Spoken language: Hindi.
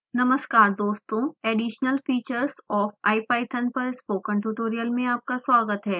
नमस्कार दोस्तों additional features of ipython पर स्पोकन ट्यूटोरियल में आपका स्वागत है